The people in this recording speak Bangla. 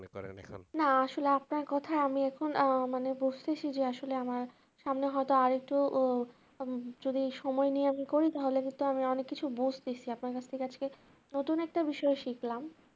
না আসলে আপনার কথার আমি এখন মানে বুঝতেছি যে আসলে আমার সামনে হয়তো আরেকটু যদি সময় নিয়ে আমি করি তাহলে কিন্তু আমি অনেক কিছু বুঝতেছি আপনি আপনার কাছে নতুন একটা বিষয় শিখলাম